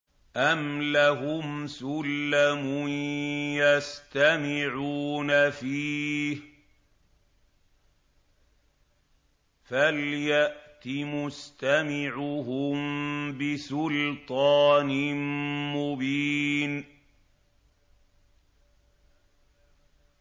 أَمْ لَهُمْ سُلَّمٌ يَسْتَمِعُونَ فِيهِ ۖ فَلْيَأْتِ مُسْتَمِعُهُم بِسُلْطَانٍ مُّبِينٍ